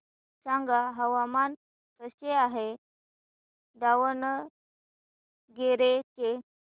सांगा हवामान कसे आहे दावणगेरे चे